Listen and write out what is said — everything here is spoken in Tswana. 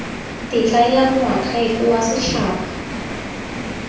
tetla ya moakhaefe wa setshaba